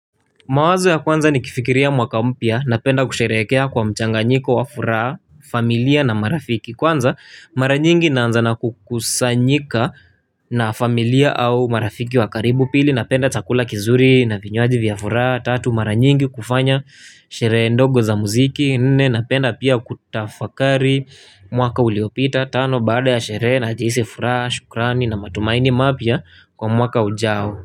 Mawazo ya kwanza ni kifikiria mwaka mpya na penda kusherekea kwa mchanganyiko wa furaha, familia na marafiki. Kwanza, mara nyingi naanza na kukusanyika na familia au marafiki wa karibu pili na penda chakula kizuri na vinywoji vya furaha, tatu mara nyingi kufanya, sherehe ndogo za muziki, nene na penda pia kutafakari, mwaka uliopita, tano baada ya sherehe na jihisi furaha, shukrani na matumaini mapya kwa mwaka ujao.